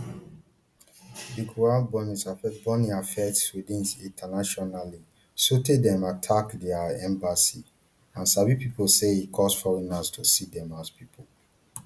di quran burnings affect burnings affect sweden internationally sotay dem attack dia embassies and sabi pesin say e cause foreigners to see dem as pipo